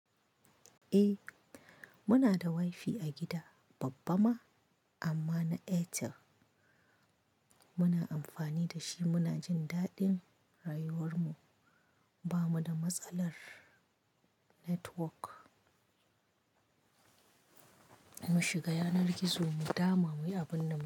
Eh muna da wifi a gida babba ma amma na Airtel muna amfani da shi. Muna jin daɗin rayuwar mu. Ba mu da matsalar network. Mu shiga yanar gizo mu dama muyi abin da mu so.